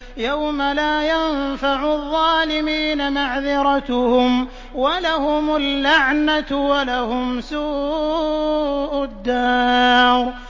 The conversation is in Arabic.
يَوْمَ لَا يَنفَعُ الظَّالِمِينَ مَعْذِرَتُهُمْ ۖ وَلَهُمُ اللَّعْنَةُ وَلَهُمْ سُوءُ الدَّارِ